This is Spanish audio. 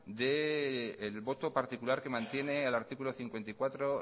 del voto particular que mantiene el artículo cincuenta y cuatro